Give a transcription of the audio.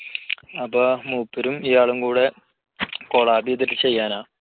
അപ്പോ മൂപ്പരും ഇയാളും കൂടി കൊളാബ് ചെയ്തിട്ട് ചെയ്യാനാ